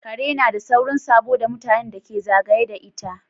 Kare nada saurin sabo da mutanen da ke zagaye da ita